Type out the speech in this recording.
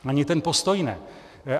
Ani ten postoj ne.